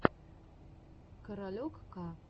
каролек к